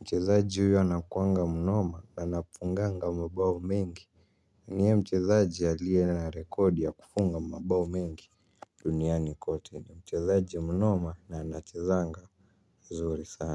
Mchizaji huyo anakuanga mnoma na napunganga mbao mingi. Nye mchizaji alie na rekodi ya kufunga mbao mingi duniani kote ni mchizaji mnoma na anachezanga zuri sana.